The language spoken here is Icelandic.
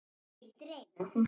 Gildir einu.